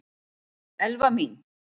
Elfa mín!